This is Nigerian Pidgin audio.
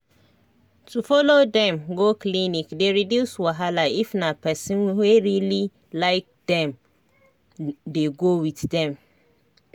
to help um do housework dey reduce wahala for when body no dey kampe um you sabi true true